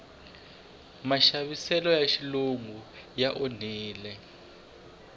maxaviseloya xilungu ya olovisa